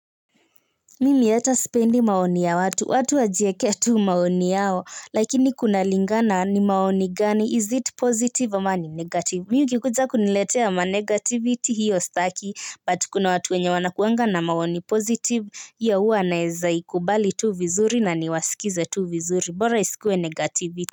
Mimi hata sipendi maoni ya watu, watu wajiekee tu maoni yao, lakini kunalingana ni maoni gani, is it positive ama ni negative. Mimi ukikuja kuniletea ma negativity hiyo staki, but kuna watu wenye wanakuanga na maoni positive, hiyo huwa naeza ikubali tu vizuri na niwasikize tu vizuri, bora isikuwe negativity.